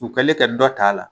U kɛlen ka dɔ t'a la